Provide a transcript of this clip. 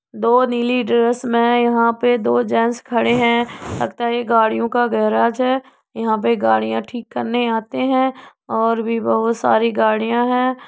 दो नीली ड्रेस में यहाँ पे दो जैंट्स खड़े हैं। लगता है ये गाड़ियों का गैराज है। यहाँ पे गाड़ी ठीक करने आते हैं और भी बहोत सारी गड़ियाँ हैं।